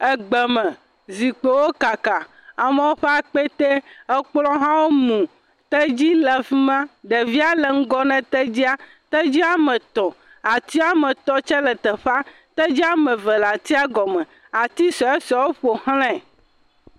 Egbeme, zikpuiwo kaka, amewo ƒe akpetɛ, kplɔ̃ hã mu, tedzi le afi ma, ɖevia le ŋgɔ na tedzia, tedzi woame etɔ̃, ati woame tɔ̃ tsɛ le teƒea. Tedzi woame eve le atia gɔme. Ati suesuewo ƒo xlãe.